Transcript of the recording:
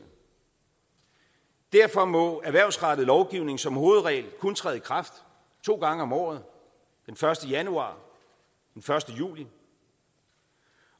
derfor må erhvervsrettet lovgivning som hovedregel kun træde i kraft to gange om året den første januar og den første juli